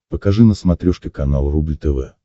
покажи на смотрешке канал рубль тв